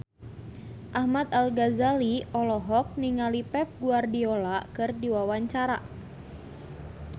Ahmad Al-Ghazali olohok ningali Pep Guardiola keur diwawancara